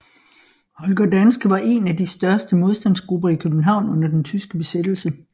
Holger Danske var en af de største modstandsgrupper i København under den tyske besættelse